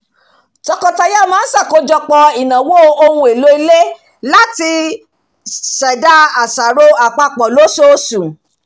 tọkọtaya máa ń ṣakojọpọ ìnáwó ohun èlò ilé láti ṣẹ̀dá àṣàrò àpapọ̀ lóṣooṣù